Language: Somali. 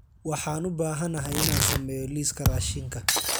Waxaan u baahanahay inaan sameeyo liiska raashinka